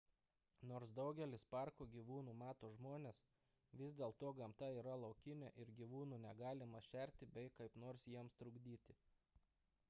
nors daugelis parko gyvūnų mato žmones vis dėl to gamta yra laukinė ir gyvūnų negalima šerti bei kaip nors jiems trukdyti